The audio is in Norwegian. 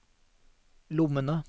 lommene